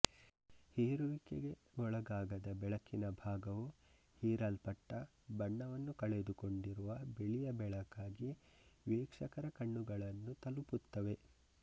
ಹೀರುವಿಕೆಗೆ ಒಳಗಾಗದ ಬೆಳಕಿನ ಭಾಗವು ಹೀರಲ್ಪಟ್ಟ ಬಣ್ಣವನ್ನು ಕಳೆದುಕೊಂಡಿರುವ ಬಿಳಿಯ ಬೆಳಕಾಗಿ ವೀಕ್ಷಕರ ಕಣ್ಣುಗಳನ್ನು ತಲುಪುತ್ತವೆ